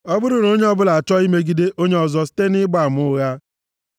Ọ bụrụ na onye ọbụla achọọ imegide onye ọzọ site nʼịgba ama ụgha,